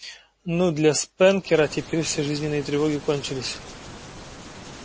ну для спэнкера теперь все жизненные тревоги кончились